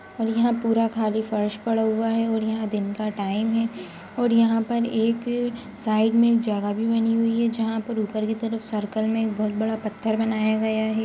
और यहाँ पूरा खाली फ़र्श पड़ा हुआ है और यहाँ दिन का टाइम है और यहाँ पर एक साइड में जगह भी बनी हुई है जहाँ पर ऊपर की तरफ सर्किल में एक बहुत बड़ा पत्थर बनाया गया है।